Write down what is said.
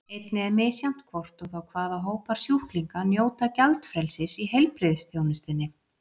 Einnig er misjafnt hvort og þá hvaða hópar sjúklinga njóta gjaldfrelsis í heilbrigðisþjónustunni.